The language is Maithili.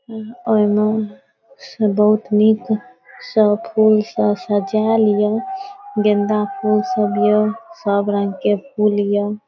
और इमा सब बहुत निक सब फूल सब सजा लिओ गेन्दा फूल सब हियो सब रंग के फूल हिया।